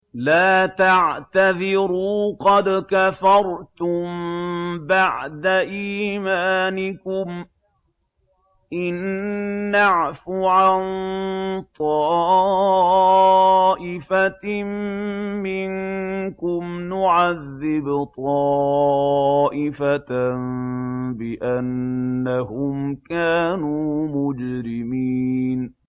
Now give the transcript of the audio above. لَا تَعْتَذِرُوا قَدْ كَفَرْتُم بَعْدَ إِيمَانِكُمْ ۚ إِن نَّعْفُ عَن طَائِفَةٍ مِّنكُمْ نُعَذِّبْ طَائِفَةً بِأَنَّهُمْ كَانُوا مُجْرِمِينَ